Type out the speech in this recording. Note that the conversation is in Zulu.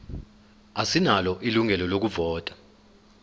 asinalo ilungelo lokuvota